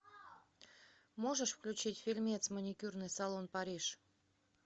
можешь включить фильмец маникюрный салон париж